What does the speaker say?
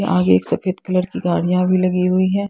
आगे एक सफेद कलर की गाड़ियां भी लगी हुई है।